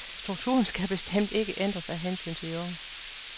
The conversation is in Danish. Strukturen skal bestemt ikke ændres af hensyn til de unge.